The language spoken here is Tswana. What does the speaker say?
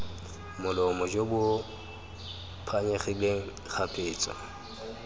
molomo jo bo phanyegileng kgapetsa